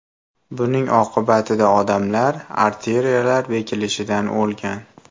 Buning oqibatida odamlar arteriyalar bekilishidan o‘lgan.